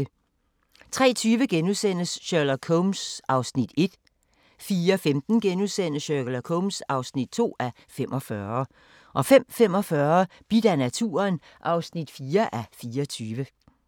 03:20: Sherlock Holmes (1:45)* 04:15: Sherlock Holmes (2:45)* 05:45: Bidt af naturen (4:24)